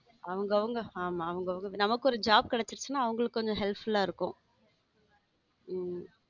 அவங்க அவங்க ஆமா அவங்க அவங்க நமக்குன்னு ஒரு job கிடைச்சுச்சுனா அவங்களுக்கு கொஞ்சம் help full ஆ இருக்கும்.